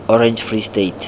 orange free state